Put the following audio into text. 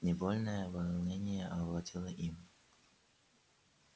невольное волнение овладело им